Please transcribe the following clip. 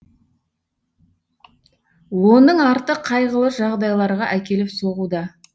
оның арты қайғылы жағдайларға әкеліп соғуда